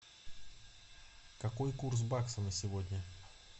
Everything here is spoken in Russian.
какой курс бакса на сегодня